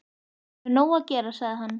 Ég hef nóg að gera, sagði hann.